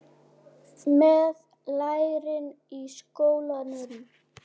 Með lærin í skónum.